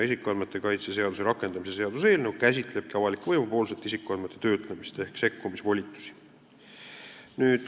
Isikuandmete kaitse seaduse rakendamise seaduse eelnõu käsitlebki isikuandmete töötlemist avaliku võimu poolt ehk tema sekkumisvolitusi.